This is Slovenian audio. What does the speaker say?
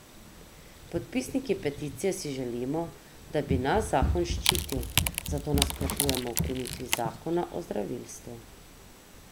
Podpisniki peticije si želimo, da bi nas zakon ščitil, zato nasprotujemo ukinitvi zakona o zdravilstvu.